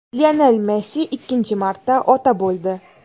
Lionel Messi ikkinchi marta ota bo‘ldi.